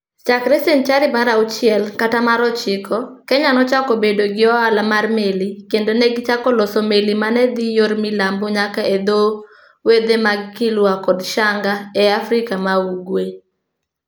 Chakre senchari mar auchiel kata mar ochiko, Kenya nochako bedo gi ohala mar meli, kendo ne gichako loso meli ma ne dhi yor milambo nyaka e dho wedhe mag Kilwa kod Shanga e Afrika ma Ugwe.